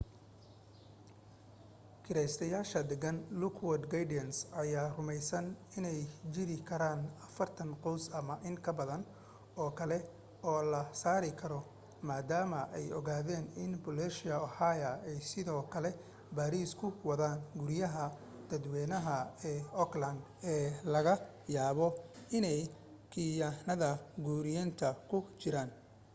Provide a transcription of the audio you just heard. kiraystayaasha degan lockwood gardens ayaa rumaysan inay jiri karaan 40 qoys ama in ka badan oo kale oo la saari karo maadaama ay ogaadeen in booliisia oha ay sidoo kale baaris ku wadaan guryaha dadwaynaha ee oakland ee laga yaabo inay khiyaanada guriyaynta ku jireen